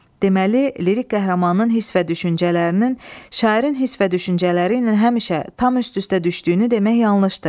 Deməli, lirik qəhrəmanın hiss və düşüncələrinin, şairin hiss və düşüncələri ilə həmişə tam üst-üstə düşdüyünü demək yanlışdır.